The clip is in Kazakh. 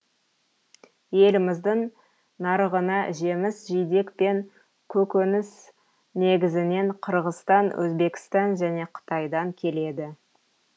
еліміздің нарығына жеміс жидек пен көкөніс негізінен қырғызстан өзбекстан және қытайдан келеді